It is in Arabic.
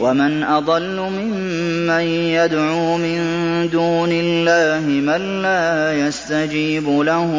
وَمَنْ أَضَلُّ مِمَّن يَدْعُو مِن دُونِ اللَّهِ مَن لَّا يَسْتَجِيبُ لَهُ